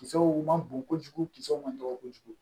Kisɛw man bon kojugu kisɛw ma dɔgɔ kojugu